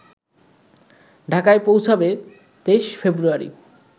ঢাকায় পৌঁছাবে ২৩ ফেব্রুয়ারি